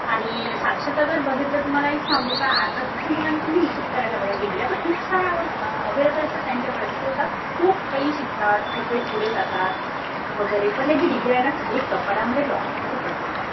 आणि साक्षरता जर बघितलं तर तुम्हाला एक सांगू का आताच्या मुलांना तुम्ही हिशोब करायला बघा. डिग्र्या तर खूप साऱ्या अव्हेलेबल असतात त्यांच्याकडे. स्वतः खूप काही शिकतात. खूप काही पुढे जातात वगैरे. पण त्यांच्या डिग्र्या ना खाली कपाटामध्ये लॉकअपमध्ये पडलेल्या असतात.